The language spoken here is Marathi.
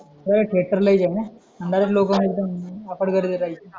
तेव्हा थेटर ला यायचे ना सगळे लोकं गर्दी करायचं एकदम अफाट गर्दी राहायची